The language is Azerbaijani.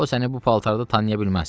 O səni bu paltarda tanıya bilməz.